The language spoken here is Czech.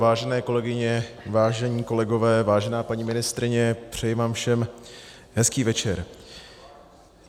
Vážené kolegyně, vážení kolegové, vážená paní ministryně, přeji vám všem hezký večer.